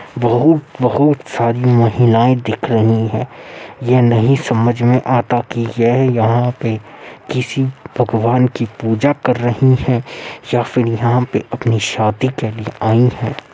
बहुत-बहुत सारी महिलाएं दिख रही हैं। यह नहीं समझ में आता कि ये यहाँ पे किसी भगवान की पूजा कर रही हैं या फिर यहाँ पे अपनी शादी के लिए आई हैं।